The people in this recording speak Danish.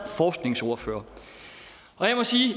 forskningsordfører jeg må sige